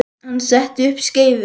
Hann setti upp skeifu.